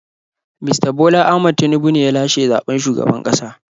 Mista Bola Ahmad Tinubu ne ya lashe zaɓen shugaban ƙasa.